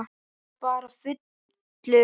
Eða bara fullur.